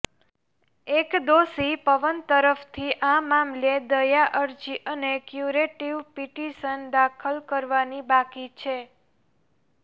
એક દોષી પવન તરફથી આ મામલે દયા અરજી અને ક્યૂરેટિવ પિટિશન દાખલ કરવાની બાકી છે